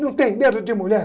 Não tenho medo de mulher!